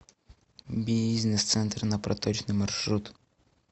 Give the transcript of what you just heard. бизнес центр на проточной маршрут